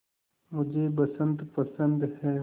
मुझे बसंत पसंद है